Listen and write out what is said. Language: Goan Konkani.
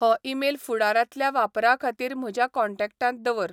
हो ईमेल फुडारांतल्या वापराखातीर म्हज्या कॉन्टॅक्टांत दवर